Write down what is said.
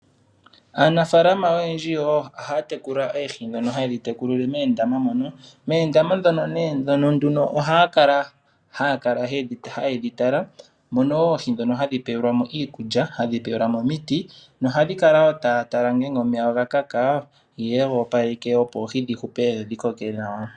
Aanafalama oyendji ohaya tekula oohi ndhono haye dhi tekulile moondama mono. Moondama mono ohaya kala taye dhitala, taye dhi pe iikulya, omiti nohaya kala taya tala ngele omeya oga kaka ye ga opaleke dho dhi vule okukoka nawa.